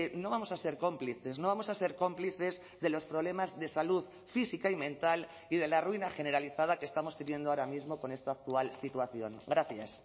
no vamos a ser cómplices no vamos a ser cómplices de los problemas de salud física y mental y de la ruina generalizada que estamos teniendo ahora mismo con esta actual situación gracias